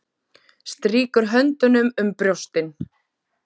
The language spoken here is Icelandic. Strýkur höndunum um brjóstin.